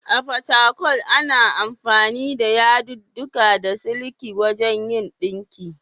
A Fatakwal, ana amfani da yadudduka na siliki wajen yin ɗinki.